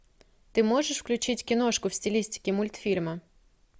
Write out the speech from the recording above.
ты можешь включить киношку в стилистике мультфильма